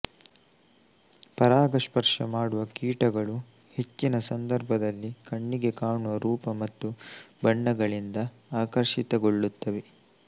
ಪರಾಗ ಸ್ಪರ್ಷ ಮಾಡುವ ಕೀಟಗಳು ಹೆಚ್ಚಿನ ಸಂದರ್ಭಗಳಲ್ಲಿ ಕಣ್ಣಿಗೆ ಕಾಣುವ ರೂಪ ಮತ್ತು ಬಣ್ಣಗಳಿಂದ ಆಕರ್ಷಿತಗೊಳ್ಳುತ್ತವೆ